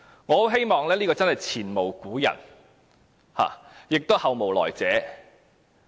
我很希望這情況是前無古人，亦後無來者。